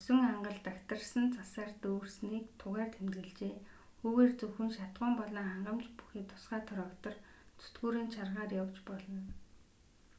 мөсөн ангал дагтаршсан цасаар дүүрсэнийг тугаар тэмдэглэжээ үүгээр зөвхөн шатахуун болон хангамж бүхий тусгай трактор зүтгүүрийн чаргаар явж болно